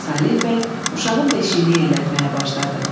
Saleh bəy uşağın beşiyini yellətməyə başladı.